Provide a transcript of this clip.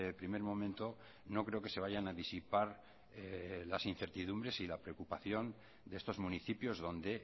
primer momento no creo que se vayan a disipar las incertidumbres y la preocupación de estos municipios donde